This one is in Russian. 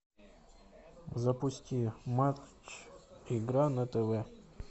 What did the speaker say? запусти матч игра на тв